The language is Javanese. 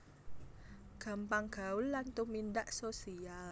Gampang gaul lan tumindak social